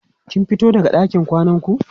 kin fito daga ɗakin kwanan ku?